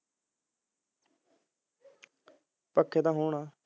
ਪੱਕੇ ਤਾਂ ਹੋਣ